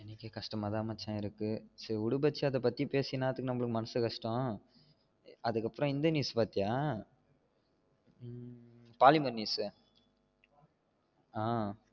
எனக்கே கஷ்டம்மதா மச்சா இருக்கு சரி விடு மச்சா இதப்பத்தி பேசி என்னத்துக்கு நமக்கு மனசு கஷ்டம் அதுக்கு அப்றம் இந்த news பாத்தியா பாலிமர் news ஆஹ்